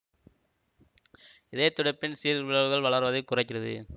இதய துடிப்பின் சீர்பிறழ்வுகள் வளர்வதைக் குறைக்கிறது